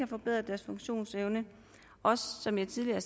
forbedret deres funktionsevne og som jeg tidligere